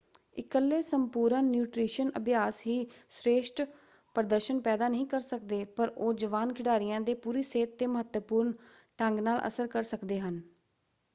ਇਕੱਲੇ ਸੰਪੂਰਨ ਨਿਊਟ੍ਰੀਸ਼ਨ ਅਭਿਆਸ ਹੀ ਸ੍ਰੇਸ਼ਠ ਪ੍ਰਦਰਸ਼ਨ ਪੈਦਾ ਨਹੀਂ ਕਰ ਸਕਦੇ ਪਰ ਉਹ ਜਵਾਨ ਖਿਡਾਰੀਆਂ ਦੇ ਪੂਰੀ ਸਿਹਤ ‘ਤੇ ਮਹੱਤਵਪੂਰਨ ਢੰਗ ਨਾਲ ਅਸਰ ਕਰ ਸਕਦੇ ਹਨ।